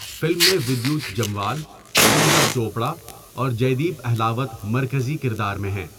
Film میں ودیوت جموال، پوجا چوپڑا اور جیدیپ اہلاوت مرکزی کردار میں ہیں۔